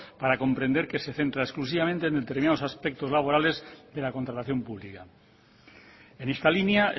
para comprender que se centra exclusivamente en determinados aspectos laborales de la contratación pública en esta línea